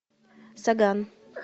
соган